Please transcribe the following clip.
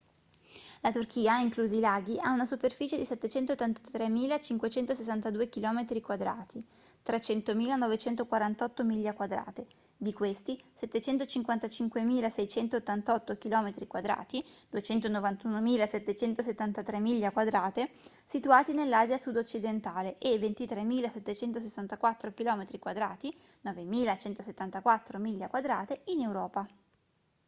la turchia inclusi i laghi ha una superficie di 783.562 km² 300.948 miglia quadrate: di questi 755.688 km² 291.773 miglia quadrate situati nell'asia sud-occidentale e 23.764 km² 9.174 miglia quadrate in europa